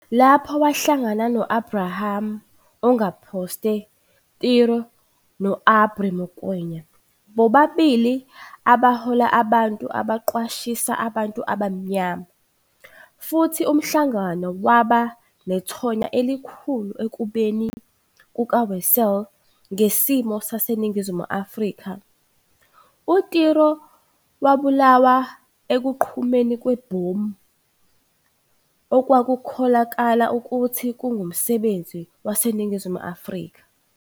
Lapho, wahlangana no-Abraham Ongeposte Tiro no-Aubrey Mokoena, bobabili abahola abantu abaqwashisa abantu abamnyama, futhi umhlangano waba nethonya elikhulu ekubukeni kukaWessels ngesimo saseNingizimu Afrika, uTiro wabulawa ekuqhumeni kwebhomu okwakukholakala ukuthi kungumsebenzi waseNingizimu Afrika.